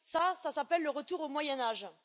Cela, ça s'appelle le retour au Moyen âge.